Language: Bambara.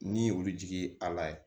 Ni olu jigi a la yen